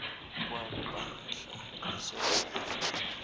kwepahla esewula afrika